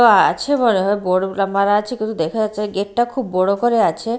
আ-আছে মনে হয় আছে কিছু দেখা যাচ্ছে না গেট -টা খুব বড়ো করে আছে।